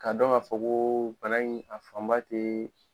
Ka dɔn ka fɔ ko bana in a fanba te